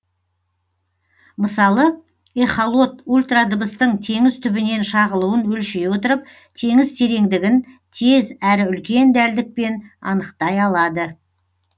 мысалы эхолот ультрадыбыстың теңіз түбінен шағылуын өлшей отырып теңіз тереңдігін тез әрі үлкен дәлдікпен анықтай алады